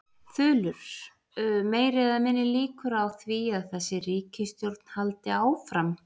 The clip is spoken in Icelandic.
Þulur: Meiri eða minni líkur á því að þessi ríkisstjórn haldi áfram?